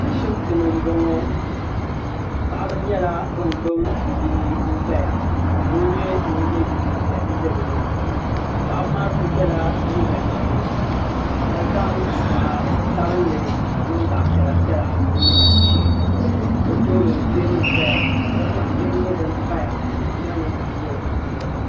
Ashibiti ni nbɔŋɔ paɣaba nyɛla bini gbubi bibihi n zaya ka doo nyɛ ŋuni ye liiga piɛlli n za bi yɛanga paɣaba maa so yela liiga ʒɛɛ ka zaŋ zaɣi sabinli ka di niŋ zaɣi piɛla piɛla n niŋ o shɛɛ ni ka bi tooni tɛɛbuli zaya ka gbaŋ bihi nyɛ dini paya ka gbaŋ hihi maa nyɛ zaɣi dozim.